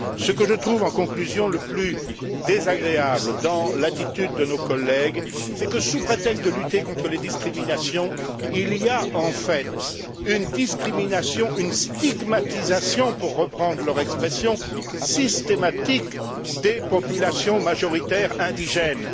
En conclusion, ce que je trouve le plus désagréable dans l'attitude de nos collègues, c'est que, sous prétexte de lutter contre les discriminations, il y a en fait une discrimination, une stigmatisation pour reprendre leur expression systématique des populations majoritaires indigènes.